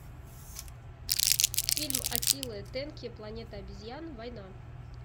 фильм аттилы тенки планета обезьян война